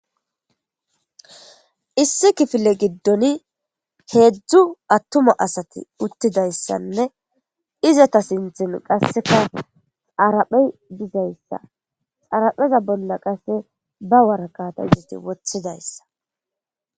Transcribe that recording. Issi kifile gidon hedzdzu atuma asati utidaysanne izeta sinten qaseka dharaphe gizaysa dharapheza bola qase ba woraqata izeti wotidaysa.